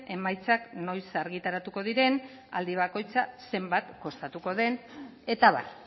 emaitzak noiz argitaratuko diren aldi bakoitza zenbat kostatuko den eta abar